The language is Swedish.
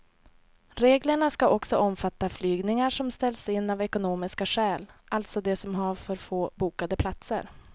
Reglerna ska också omfatta flygningar som ställs in av ekonomiska skäl, alltså de som har för få bokade platser.